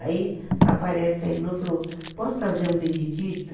Aí aparece a irmã e falou, posso trazer um Benedito?